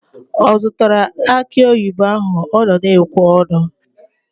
Ọ zụtara akị oyibo ahụ ọ na-ekwe ọnụ?